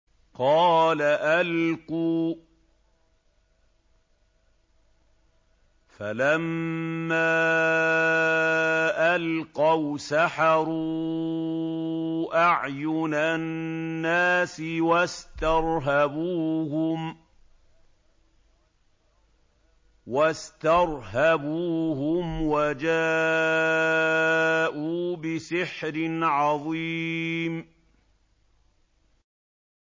قَالَ أَلْقُوا ۖ فَلَمَّا أَلْقَوْا سَحَرُوا أَعْيُنَ النَّاسِ وَاسْتَرْهَبُوهُمْ وَجَاءُوا بِسِحْرٍ عَظِيمٍ